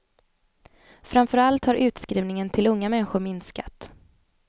Framförallt har utskrivningen till unga människor minskat.